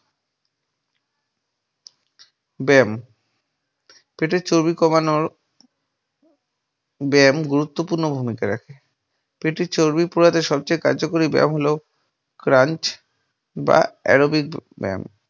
ব্যায়াম পেটের চর্বি কমানোর ব্যায়াম গুরুত্বপূর্ণ ভূমিকা রাখে। পেটের চর্বির প্রভাবে সবথেকে কার্যকরী ব্যায়াম হল ক্রান্চ বা aerobic ব্যায়াম ।